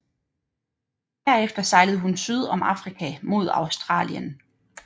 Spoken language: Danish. Herefter sejlede hun syd om Afrika mod Australien